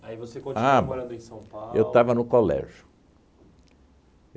Aí você continuou morando em São Paulo... Eu estava no colégio.